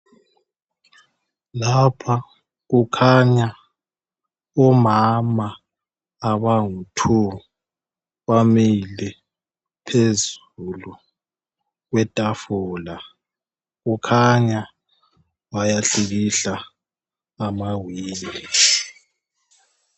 Lapha kukhanya omama abangu "two" bamile phezulu kwetafula kukhanya bayahlikihla amawindi.